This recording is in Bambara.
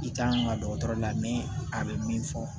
I kan ka dɔgɔtɔrɔ la min a bɛ min fɔ